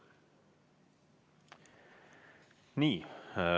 Nii.